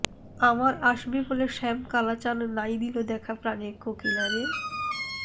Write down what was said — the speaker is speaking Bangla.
আমার আসবে বলে শ্যাম কালাচাঁন নাই দিল দেখা প্রাণ কোকিলা রে